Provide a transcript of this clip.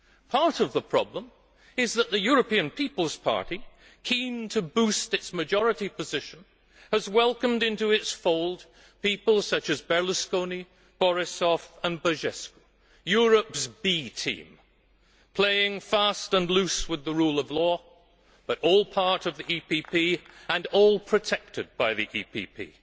Part of the problem is that the European People's Party, keen to boost its majority position, has welcomed into its fold people such as Berlusconi, Borisov and Băsescu Europe's B team, playing fast and loose with the rule of law but all part of the EPP and all protected by the EPP.